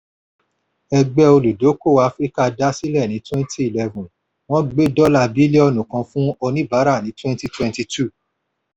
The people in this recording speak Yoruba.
ẹgbẹ́ olùdókòwò áfíríkà dá sílẹ̀ ní twenty eleven wọ́n gbé dọ́là bílíọ̀nù kan fún oníbàárà ní twenty twenty two.